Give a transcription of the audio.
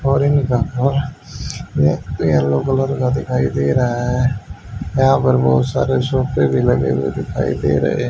और yellow colour का दिखाई दे रहा है यहां पर बहुत सारे सोफे भी लगे हुए दिखाई दे रहे--